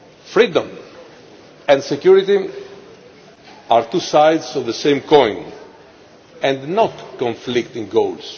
Freedom and security are two sides of the same coin, and not conflicting goals.